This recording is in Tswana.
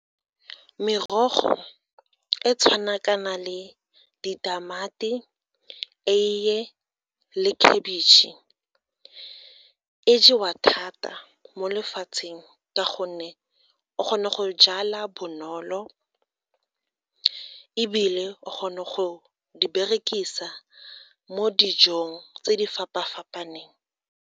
Merogo e tshwana kana le ditamati, eiye le khabitšhe e jewa thata mo lefatsheng ka gonne o kgona go jala bonolo ebile o kgona go di berekisa mo dijong tse di fapa-fapaneng.